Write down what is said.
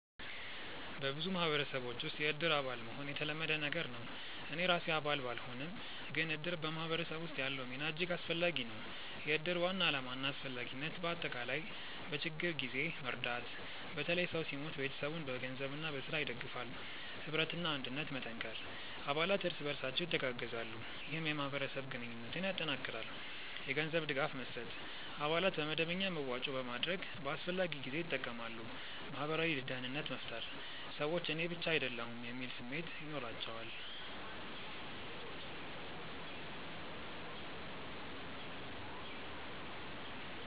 በብዙ ማህበረሰቦች ውስጥ “የእድር አባል” መሆን የተለመደ ነገር ነው። እኔ ራሴ አባል ባልሆንም፣ ግን እድር በማህበረሰብ ውስጥ ያለው ሚና እጅግ አስፈላጊ ነው። የእድር ዋና ዓላማና አስፈላጊነት በአጠቃላይ፦ በችግኝ ጊዜ መርዳት – በተለይ ሰው ሲሞት ቤተሰቡን በገንዘብና በሥራ ይደግፋል። ኅብረትና አንድነት መጠንከር – አባላት እርስ በርሳቸው ይተጋገዛሉ፣ ይህም የማህበረሰብ ግንኙነትን ያጠናክራል። የገንዘብ ድጋፍ መስጠት – አባላት በመደበኛ መዋጮ በማድረግ በአስፈላጊ ጊዜ ይጠቀማሉ። ማህበራዊ ደህንነት መፍጠር – ሰዎች “እኔ ብቻ አይደለሁም” የሚል ስሜት ይኖራቸዋል